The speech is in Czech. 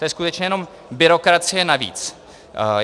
To je skutečně jenom byrokracie navíc.